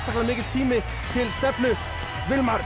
mikill tími til stefnu